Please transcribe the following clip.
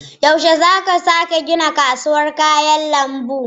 Yaushe za a sake gina kasuwar kayan lambu?